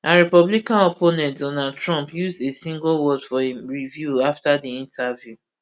her republican opponent donald trump use a singleword for im review afta di interview